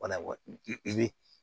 Wala i bɛ